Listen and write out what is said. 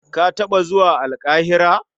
Ka taɓa zuwa Alƙahira?